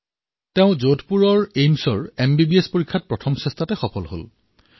তেওঁ যোধপুৰৰ এইমছৰ এমবিবিএছৰ পৰীক্ষাত নিজৰ প্ৰথম প্ৰয়াসতেই সফলতা প্ৰাপ্ত কৰিছে